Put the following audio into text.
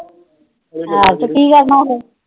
ਆਹੋ ਤੇ ਕੀ ਕਰਨਾ ਫਿਰ?